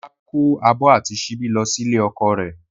Ọlá kó abọ́ àti síbí lọ sí ilé ọkọ rẹ̀